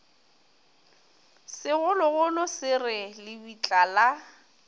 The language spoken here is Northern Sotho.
segologolo se re lebitla la